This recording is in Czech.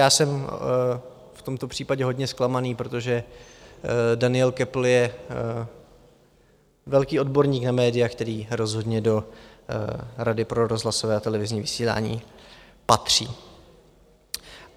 Já jsem v tomto případě hodně zklamaný, protože Daniel Köppl je velký odborník na média, který rozhodně do Rady pro rozhlasové a televizní vysílání patří.